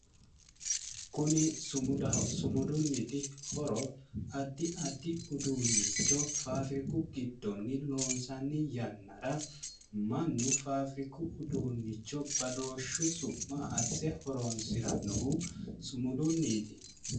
Kuni sumudaho sumudunniti horo add addi uduunnicho faafiriku giddonni loonsanni yannara mannu faafiriku uduunnicho badooshshu su'ma asse horoonsirannohu sumudunniiti.